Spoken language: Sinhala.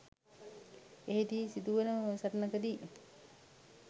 එහිදී වන සිදු වන සටනකදී